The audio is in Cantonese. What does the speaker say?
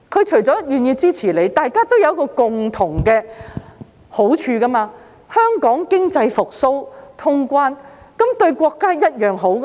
除願意支持我們外，對大家亦有共同的好處，便是如果香港經濟復蘇，能通關，對國家一樣好。